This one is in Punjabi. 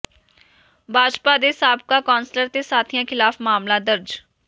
ਭਾਜਪਾ ਦੇ ਸਾਬਕਾ ਕੌ ਾਸਲਰ ਤੇ ਸਾਥੀਆਂ ਿਖ਼ਲਾਫ਼ ਮਾਮਲਾ ਦਰਜ